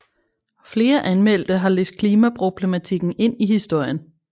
Flere anmeldte har læst klimaproblematikken ind i historien